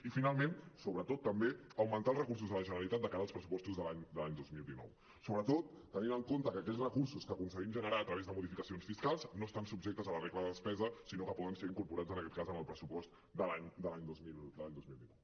i finalment sobretot també augmentar els recursos de la generalitat de cara als pressupostos de l’any dos mil dinou sobretot tenint en compte que aquells recursos que aconseguim generar a través de modificacions fiscals no estan subjectes a la regla de despesa sinó que poden ser incorporats en aquest cas en el pressupost de l’any dos mil dinou